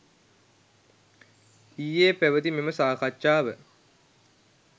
ඊයේ පැවැති මෙම සාකච්ඡාව